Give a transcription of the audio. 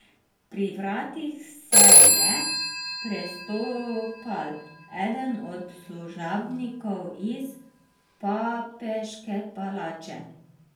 Pri vratih se je prestopal eden od služabnikov iz papeške palače.